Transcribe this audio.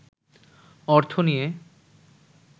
অর্থ নিয়ে